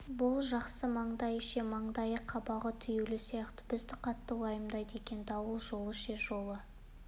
бұл жақсы маңдайы ше маңдайы қабағы түюлі сияқты бізді қатты уайымдайды екен дауыл жолы ше жолы